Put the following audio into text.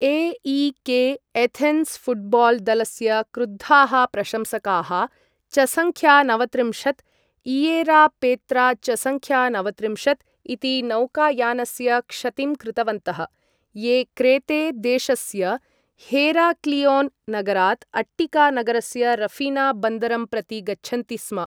AEK Athens football दलस्य क्रुद्धाः प्रशंसकाः चसंख्यानवत्रिंशत्, इएरापेत्राचसंख्यानवत्रिंशत्, इति नौकायानस्य क्षतिं कृतवन्तः, ये क्रेते देशस्य हेराक्लिओन् नगरात् अट्टिका नगरस्य रफीना बन्दरं प्रति गच्छन्ति स्म